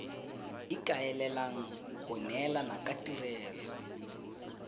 ikaelelang go neelana ka tirelo